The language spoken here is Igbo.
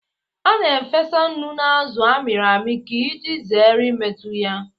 A na-efesa nnu na azụ a mịrị amị ka iji zere imetụ ya aka